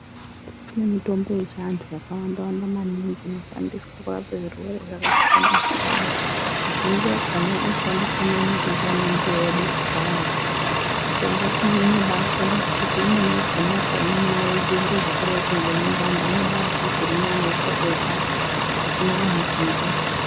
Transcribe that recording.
Kune mitombo yechiantu yakawanda-wanda maningi inoshandiswe kurapa zvirwere zvakasiyana-siyana. Mizhinji yakona yaishandiswa maningi ndiana mbuya edu kudhayako. Mishongaiyi inobashanda nekuti imweni yakona ukaimwa unozwe zviro zvakadaroko ngemundani unobazwe zvirinani apapo-apapo pasina kana chinguva.